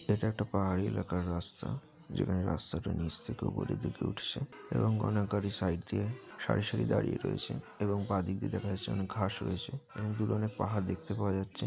এটা একটা পাহাড়ি এলাকার রাস্তা। যেখানে রাস্তাটা নিচ থেকে উপরের দিকে উঠছে এবং অনেক গাড়ি সাইড দিয়ে সারি সারি দাঁড়িয়ে রয়েছে এবং বাঁদিকে দিক দিয়ে দেখা যাচ্ছে অনেক ঘাস রয়েছে এবং দূরে অনেক পাহাড় দেখতে পাওয়া যাচ্ছে।